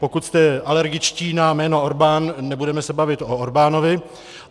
Pokud jste alergičtí na jméno Orbán, nebudeme se bavit o Orbánovi.